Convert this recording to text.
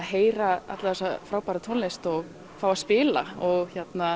heyra alla þessa frábæru tónlist og fá að spila og